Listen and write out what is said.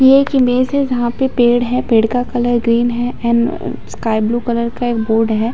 ये एक इमेज है जहाँ पे पेड़ है पेड़ का कलर ग्रीन है येन स्काई ब्लू कलर का एक बोर्ड हैं ।